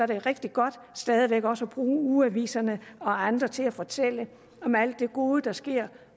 det rigtig godt stadig væk også at bruge ugeaviserne og andre til at fortælle om alt det gode der sker